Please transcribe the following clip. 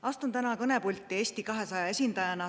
Astun täna kõnepulti Eesti 200 esindajana.